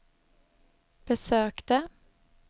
besökte